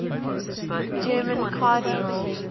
german cardinals